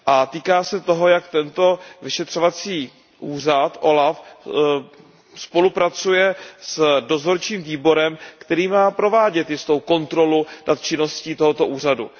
Týká se toho, jak vyšetřovací úřad OLAF spolupracuje s dozorčím výborem, který má provádět jistou kontrolu nad činností tohoto úřadu.